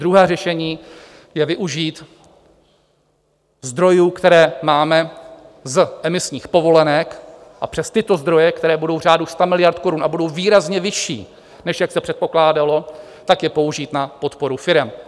Druhé řešení je využít zdrojů, které máme z emisních povolenek, a přes tyto zdroje, které budou v řádu sta miliard korun a budou výrazně vyšší, než jak se předpokládalo, tak je použít na podporu firem.